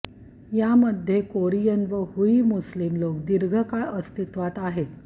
यामध्ये कोरियन व Hui Muslim लोक दीर्घकाळ अस्तित्त्वात आहेत